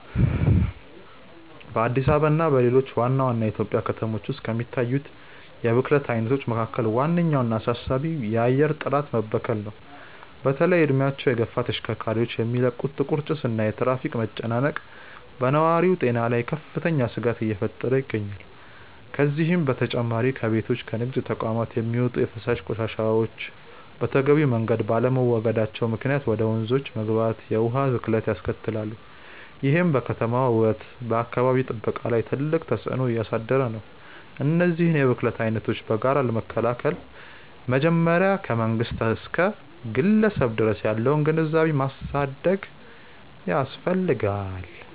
በአዲስ አበባ እና በሌሎች ዋና ዋና የኢትዮጵያ ከተሞች ውስጥ ከሚታዩት የብክለት አይነቶች መካከል ዋነኛውና አሳሳቢው የአየር ጥራት መበከል ነው። በተለይም እድሜያቸው የገፉ ተሽከርካሪዎች የሚለቁት ጥቁር ጭስ እና የትራፊክ መጨናነቅ በነዋሪው ጤና ላይ ከፍተኛ ስጋት እየፈጠረ ይገኛል። ከዚህም በተጨማሪ ከቤቶችና ከንግድ ተቋማት የሚወጡ የፍሳሽ ቆሻሻዎች በተገቢው መንገድ ባለመወገዳቸው ምክንያት ወደ ወንዞች በመግባት የውሃ ብክለትን ያስከትላሉ፤ ይህም በከተማዋ ውበትና በአካባቢ ጥበቃ ላይ ትልቅ ተጽዕኖ እያሳደረ ነው። እነዚህን የብክለት አይነቶች በጋራ ለመከላከል መጀመሪያ ከመንግስት እስከ ግለሰብ ድረስ ያለውን ግንዛቤ ማሳደግ ያስፈልጋል።